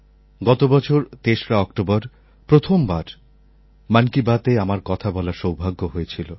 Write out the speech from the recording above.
গত বছর ৩রা অক্টোবর প্রথমবার মন কি বাতএ আমার কথা বলার সৌভাগ্য হয়েছিল